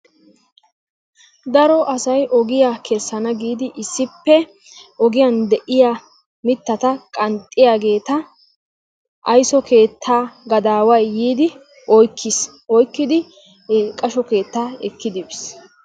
Daro asay ogiya kessana giidi issippe ogiyan deiya mittata qanxxiyageta aysso keetta gadaaway yiidi oykkiis. oykkidi e qashsho keettaa ekkidi biis.